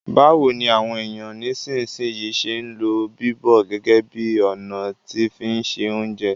Báwoni àwon èyàn nisínsìnyi se n lo bíbọ̀ gẹ́gẹ́ bi ọ̀nà ti fi n se ounjẹ